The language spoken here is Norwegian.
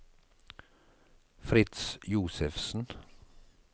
Fritz Josefsen